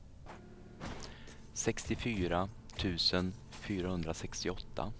sextiofyra tusen fyrahundrasextioåtta